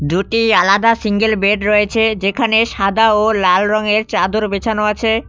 দুটি আলাদা single bed রয়েছে যেখানে সাদা ও লাল রঙের চাঁদর বেছানো আছে।